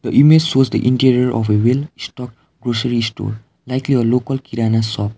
the image shows the interior of a well stocked grocery store likely a local kirana shop.